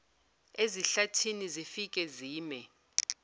ezihlathini zifike zime